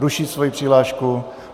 Ruší svoji přihlášku.